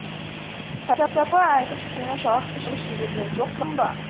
пәлсапа айтып сені жалықтырып жіберген жоқпын ба